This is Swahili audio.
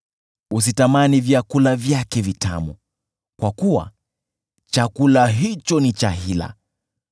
Usitamani vyakula vyake vitamu kwa kuwa chakula hicho ni cha hila.